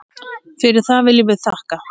Fyrir það viljum við þakka.